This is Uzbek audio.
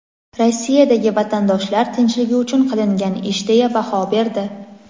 Rossiyadagi vatandoshlar tinchligi uchun qilingan ish deya baho berdi.